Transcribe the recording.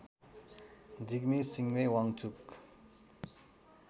Jigme Singye Wangchuck